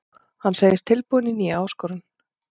Hann segist tilbúinn í nýja áskorun.